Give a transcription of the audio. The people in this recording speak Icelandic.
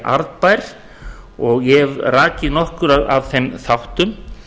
arðbær og ég hef rakið nokkra af þeim þáttum